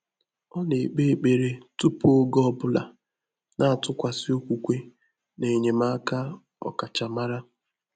Ọ́ nà-ékpé ékpèré túpù ògé ọ́ bụ́lá, nà-àtụ́kwàsị́ ókwúkwé nà ényémáká ọ́kàchàmárá.